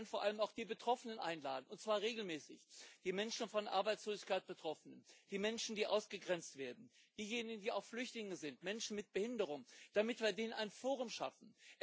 Aber dann vor allem auch die Betroffenen einladen und zwar regelmäßig die Menschen, die von Arbeitslosigkeit betroffen sind, die Menschen, die ausgegrenzt werden, diejenigen, die auch Flüchtlinge sind, Menschen mit Behinderung damit wir ihnen ein Forum schaffen.